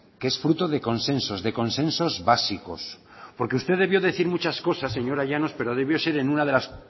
que es fruto de consensos de consensos básicos porque usted debió decir muchas cosas señora llanos pero debió ser en una de las